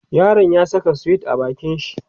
yaron ya Saka sweet a bakin shi